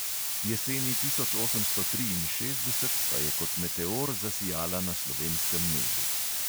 Jeseni osemnajststo triinšestdeset pa je kot meteor zasijala na slovenskem nebu.